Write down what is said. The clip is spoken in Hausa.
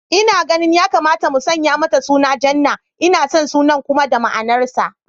Ina ganin ya kamata mu sanya mata suna Jannah, ina son sunan kuma da ma'anar sa